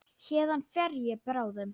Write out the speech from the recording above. Héðan fer ég bráðum.